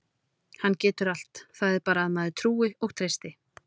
Hann getur allt, það er bara að maður trúi og treysti.